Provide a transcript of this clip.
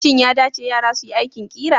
Shin ya dace yara su yi aikin ƙira?